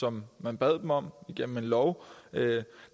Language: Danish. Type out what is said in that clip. som man bad dem om igennem en lov